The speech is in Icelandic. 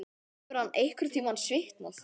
Hefur hann einhverntímann svitnað?